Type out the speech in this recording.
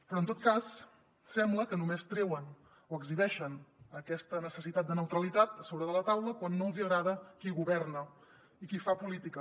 però en tot cas sembla que només treuen o exhibeixen aquesta necessitat de neutralitat a sobre de la taula quan no els hi agrada qui governa i qui fa política